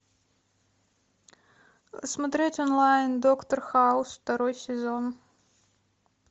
смотреть онлайн доктор хаус второй сезон